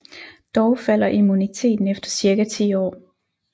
Dog falder immuniteten efter cirka ti år